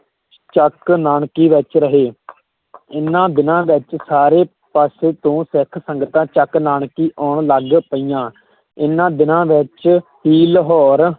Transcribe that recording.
ਚੱਕ ਨਾਨਕੀ ਵਿੱਚ ਰਹੇ ਇਹਨਾਂ ਦਿਨਾਂ ਵਿੱਚ ਸਾਰੇ ਪਾਸੇ ਤੋਂ ਸਿੱਖ ਸੰਗਤਾਂ ਚੱਕ ਨਾਨਕੀ ਆਉਣ ਲੱਗ ਪਈਆਂ ਇਹਨਾਂ ਦਿਨਾਂ ਵਿੱਚ ਹੀ ਲਾਹੌਰ